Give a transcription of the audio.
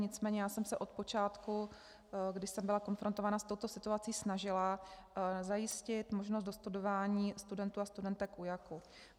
Nicméně já jsem se od počátku, když jsem byla konfrontována s touto situací, snažila zajistit možnost dostudování studentů a studentek UJAK.